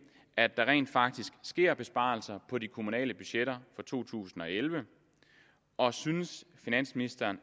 at der rent faktisk sker besparelser på de kommunale budgetter for 2011 og synes finansministeren